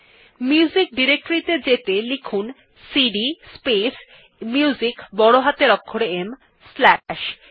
এখন music directory ত়ে যেতে লিখুন সিডি স্পেস Musicবড় হাতের অক্ষরে ম স্লাশ